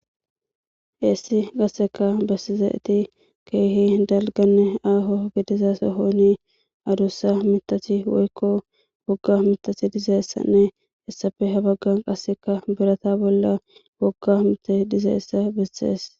heessi gasseka bessizaeti keehi dalganne aaho gidiza sohoni adussa mitathi woykko wogga mitathi dizeessanne hessafe habaggan qasseka birata bolla wogga mita dizeessa bessees